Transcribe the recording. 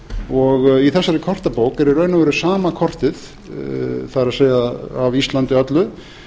og í þessari kortabók er í raun og veru sama kortið það er af íslandi öllu